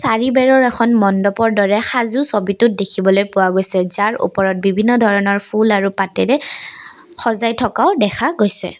কালিবেৰৰ এখন মন্দবৰ দৰে সাজো ছবিটোত দেখিবলৈ পোৱা গৈছে যাৰ ওপৰত বিভিন্ন ধৰণৰ ফুল আৰু পাতেৰে সজাই থকাও দেখা গৈছে।